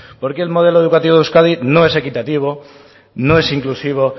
porque el modelo educativo de euskadi no es equitativo no es inclusivo